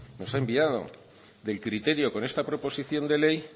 nos ha enviado del criterio con esta proposición de ley